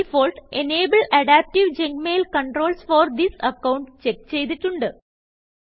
default enable adaptive junk mail controls for this account check ചെയ്തിട്ടുണ്ട്